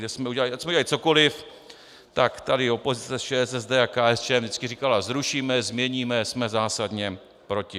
Ať jsme udělali cokoliv, tak tady opozice ČSSD a KSČM vždycky říkala: zrušíme, změníme, jsme zásadně proti.